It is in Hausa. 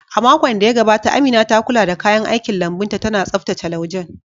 A makon da ya gabata, Amina ta kula da kayan aikin lambun ta, tana tsaftace laujen